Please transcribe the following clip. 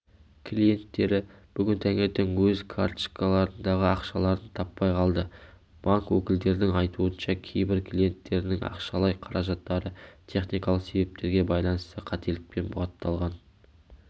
клиенттері бүгін таңертең өз карточкаларындағы ақшаларын таппай қалды банк өкілдерінің айтуынша кейбір клиенттерінің ақшалай қаражаттары техникалық себептерге байланысты қателікпен бұғатталған